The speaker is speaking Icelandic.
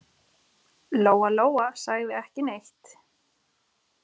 Lóa-Lóa sagði ekki neitt.